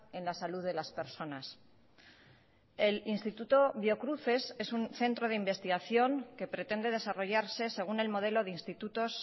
en la salud de las personas el instituto biocruces es un centro de investigación que pretende desarrollarse según el modelo de institutos